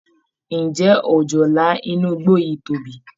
Ǹjẹ́ òjòlá inú igbó yìí tóbi?